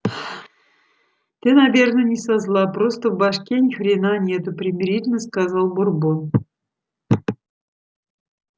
ты наверное не со зла просто в башке ни хрена нету примирительно сказал бурбон